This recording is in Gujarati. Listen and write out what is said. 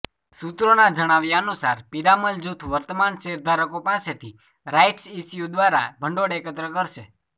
સૂત્રોના જણાવ્યા અનુસાર પિરામલ જૂથ વર્તમાન શેરધારકો પાસેથી રાઇટ્સ ઇશ્યૂ દ્વારા ભંડોળ એકત્ર કરશે